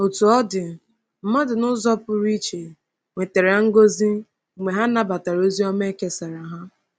Otú ọ dị, mmadụ n’ụzọ pụrụ iche nwetara ngọzi mgbe ha nabatara ozi ọma o kesara ha.